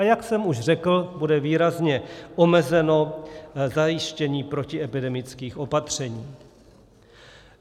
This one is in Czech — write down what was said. A jak jsem už řekl, bude významně omezeno zajištění protiepidemických opatření.